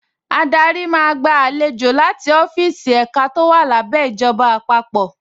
Adarí máa gba àlejò láti ọ́fíìsì ẹ̀ka tó wà lábẹ́ ìjọba àpapọ̀